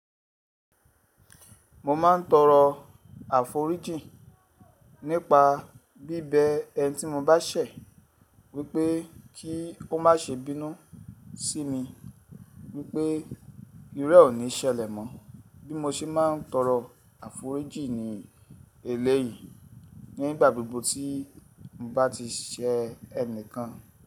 Mo ma ń toro àforíjì nípa bíbẹ ẹni tí mo bá ṣẹ̀ wípé kí ó má ṣe bínú sí mi wípé iru re ò ní ṣẹlẹ̀ mọ́. Bí mo ṣe máa ń toro àforíjì ní eléyìí nígbà gbogbo tí mo bá ti ṣe ẹ̀nìkan.